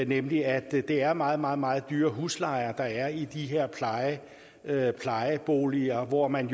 nemlig at det er meget meget meget dyre huslejer der er i de her her plejeboliger hvor man